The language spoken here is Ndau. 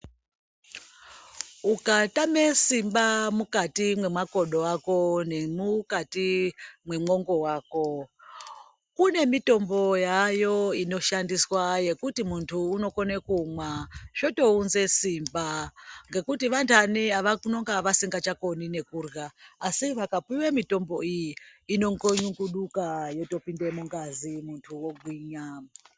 Ukatame simba mukati mwemakodo ako, nemukati wemwongo wako kune mitombo yaayo inoshandiswa yekuti munhu unokone kumwa zvotounze simba ngekuti vanhani vanonga vasisachatokoni nekurya, asi vakapiwe mitombo iyi inongonyunguduka yotopinde mungazi muntu ogwinya.